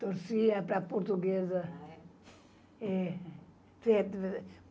Torcia para a portuguesa. Ah é? É